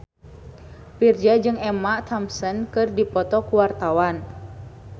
Virzha jeung Emma Thompson keur dipoto ku wartawan